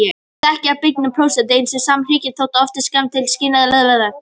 Þekking á byggingu prótíns ein saman hrekkur þó oft skammt til skilnings á starfsemi þess.